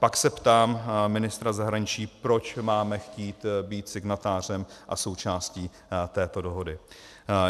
Pak se ptám ministra zahraničí, proč máme chtít být signatářem a součástí této dohody.